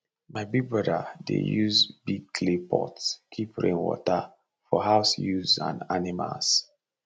my big brother dey use big clay pot keep rain water for house use and animals